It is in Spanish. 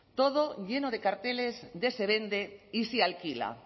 todo lleno de carteles de se vende y se alquila